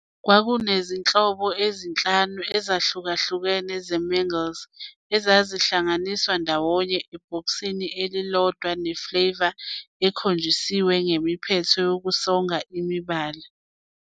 Kwakunezinhlobo ezi-5 ezahlukahlukene zeMingles, ezahlanganiswa ndawonye ebhokisini elilodwa ne-flavour ekhonjiswe ngemiphetho yokusonga enemibala.